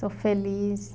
Sou feliz.